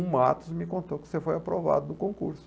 O Matos me contou que você foi aprovado do concurso.